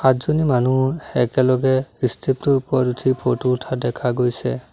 দুজনী মানুহ একেলগে ষ্টেপ টোৰ ওপৰত উঠি ফটো উঠা দেখা গৈছে।